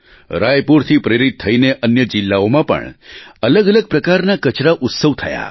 રાયપુરથી પ્રેરિત થઈને અન્ય જિલ્લાઓમાં પણ અલગઅલગ પ્રકારના કચરા ઉત્સવ થયા